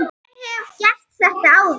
Ég hef gert þetta áður.